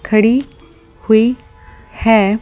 खड़ी हुई है ।